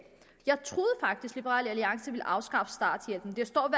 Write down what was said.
liberal alliance ville afskaffe starthjælpen det står